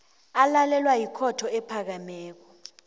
alalelwa yikhotho ephakemeko